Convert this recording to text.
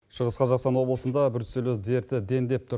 шығыс қазақстан облысында бруцеллез дерті дендеп тұр